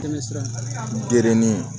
Dɛmɛ sɔrɔ geren